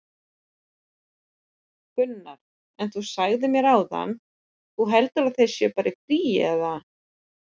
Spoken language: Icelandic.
Gunnar: En þú sagðir mér áðan, þú heldur að þeir séu bara í fríi, eða?